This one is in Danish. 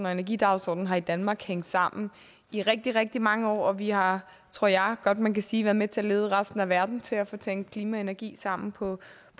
og energidagsordenen har i danmark hængt sammen i rigtig rigtig mange år og vi har tror jeg godt man kan sige været med til at lede resten af verden hen til at få tænkt klima og energi sammen på